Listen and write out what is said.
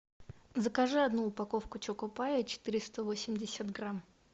закажи одну упаковку чокопая четыреста восемьдесят грамм